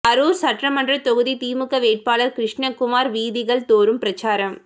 அரூர் சட்டமன்ற தொகுதி திமுக வேட்பாளர் கிருஷ்ணகுமார் வீதிகள் தோறும் பிரசாரம்